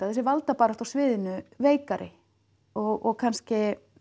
þessi valdabarátta á sviðinu veikari og kannski